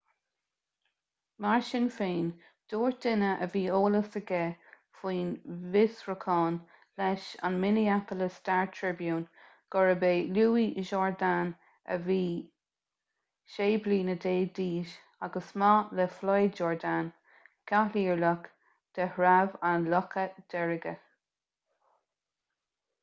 mar sin féin dúirt duine a bhí eolas aige faoin bhfiosrúchán leis an minneapolis star-tribune gurb é louis jourdain a bhí 16 bliana d'aois agus mac le floyd jourdain cathaoirleach de threabh an locha deirge